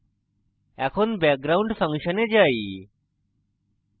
এখন background ফাংশনে যাই